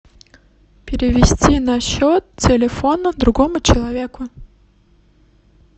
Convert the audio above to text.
перевести на счет телефона другому человеку